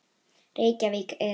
Reykjavík, Iðunn.